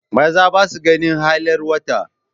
Maza ba sa ganin hailar wata.